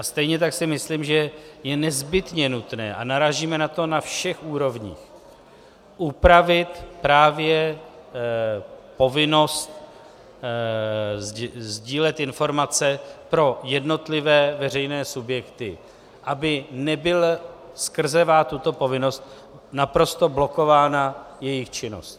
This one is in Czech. A stejně tak si myslím, že je nezbytně nutné, a narážíme na to na všech úrovních, upravit právě povinnost sdílet informace pro jednotlivé veřejné subjekty, aby nebyla skrzevá tuto povinnost naprosto blokována jejich činnost.